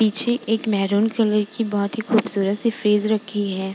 पीछे एक maroon colour बोहोत ही खूबसूरत सी फ्रिज रखी है।